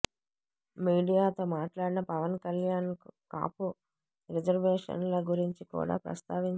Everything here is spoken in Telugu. మీడియా తో మాట్లాడిన పవన్ కళ్యాణ్ కాపు రిజర్వేషన్ ల గురించి కూడా ప్రస్తావించారు